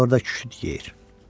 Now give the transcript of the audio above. İndi orada küçüd geyir.